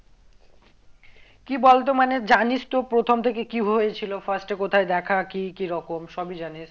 কি বলতো মানে জানিস তো প্রথম থেকে কি হয়েছিল first এ কোথায় দেখা কি কিরকম সবই জানিস